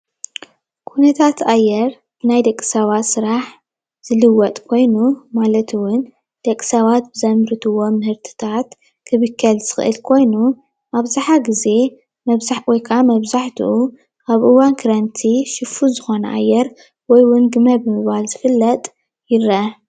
ኩነታት አየር ናይ ደቂ ሰባት ስራሕ ዝልወጥ ኮይኑ ማለት እዉን ደቂ ሰባት ብዘምርትዎ ምህርትታት ክብከል ዝኮነ ኮይኑ አብዛሓ ግዜ ወይ ከዓ መብዛሕቲኡ አብ እዋን ክረምቲ ሽፉን ዝኮነ አየር ወይ እውን ግመ ብምባል ዝፍለጥ ይረአ፡፡